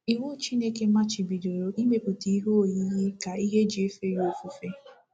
Iwu Chineke machibidoro imepụta ihe oyiyi ka ihe e ji efe ofufe.